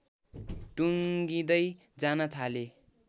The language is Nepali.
टुङ्गिंदै जान थाले